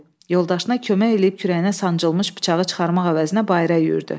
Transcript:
Yoldaşına kömək eləyib kürəyinə sancılmış bıçağı çıxarmaq əvəzinə bayıra yüyürdü.